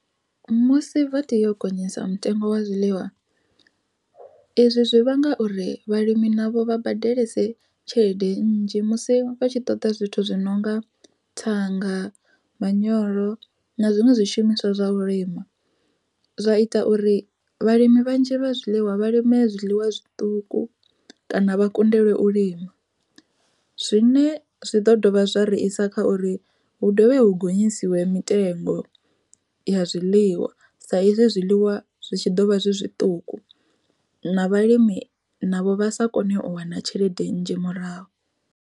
Musi vha tea u gonyisa mutengo wa zwiḽiwa, izwi zwi vhanga uri vhalimi navho vha badelese tshelede nnzhi musi vhatshi ṱoḓa zwithu zwi nonga thanga, manyoro na zwiṅwe zwishumiswa zwa u lima. Zwa ita uri vhalimi vhanzhi vha zwiḽiwa vha lime zwiḽiwa zwiṱuku, kana vha kundelwe u lima. Zwine zwi ḓo dovha zwa ri isa kha uri hu dovhe hu gonyisiwe mitengo ya zwiḽiwa, sa izwi zwiḽiwa zwi tshi ḓo vha zwi zwiṱuku, na vhalimi navho vha sa kone u wana tshelede nnzhi murahu.